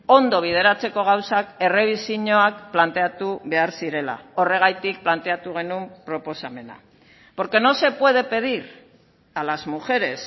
ondo bideratzeko gauzak errebisioak planteatu behar zirela horregatik planteatu genuen proposamena porque no se puede pedir a las mujeres